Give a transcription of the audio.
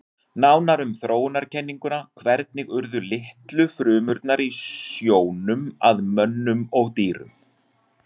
Nánar um þróunarkenninguna Hvernig urðu litlu frumurnar í sjónum að mönnum og dýrum?